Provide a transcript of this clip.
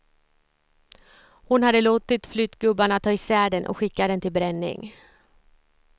Hon hade låtit flyttgubbarna ta isär den och skicka den till bränning.